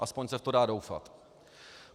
Aspoň se v to dá doufat.